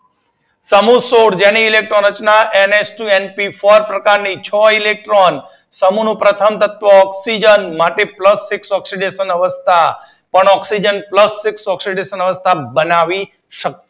સમૂહ સોળ તેની જેની ઇલેક્ટ્રોન રચના N H two N P four પ્રકાર ની છ ઇલેક્ટ્રોન સમૂહ નું પ્રથમ તત્વ છે ઑક્સીજન માટે પ્લસ સિક્સ ઓક્સીડેશન અવસ્થા પણ ઑક્સીજન પ્લસ સિક્સ ઓક્સીડેશન અવસ્થા બનાવી